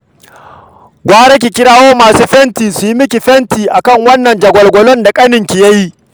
Gara ki kira masu fenti su yi miki fenti a kan wannan jagwalgwalon da ƙaninki ya yi